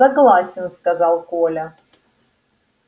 согласен сказал коля